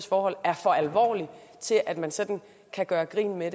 forhold er for alvorlig til at man sådan kan gøre grin med